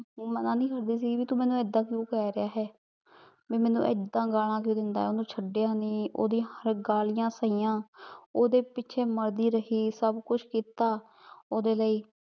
ਮਨਾ ਨੀ ਕਰਦੀ ਸੀਗੀ ਭਾਈ ਤੂ ਮੇਨੂ ਏਦਾਂ ਕ੍ਯੂ ਕਹਿ ਰਿਹਾ ਆ ਹੈ ਭਾਈ ਮੇਨੂ ਏਦਾਂ ਗੱਲਾਂ ਕ੍ਯੂ ਦੇਂਦਾ ਆਯ ਓਹਨੁ ਛਡਿਆ ਨਹੀ ਓਹਦੀ ਗਲਿਯਾਂ ਸਾਹਿਯਾਂ ਓਹਦੇ ਪਿਛੇ ਮਾਰਦੀ ਰਹੀ ਸਬ ਕੁਛ ਕੀਤਾ ਓਹਦੇ ਲਈ